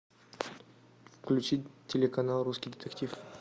включить телеканал русский детектив